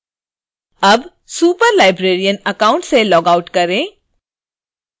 अब superlibrarian account से logout करें